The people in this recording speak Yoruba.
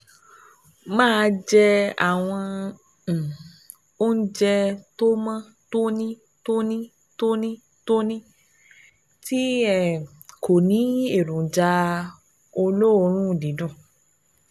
Máa jẹ àwọn um oúnjẹ tó mọ́ tónítóní, tónítóní, tónítóní tónítóní tí um kò ní èròjà olóòórùn dídùn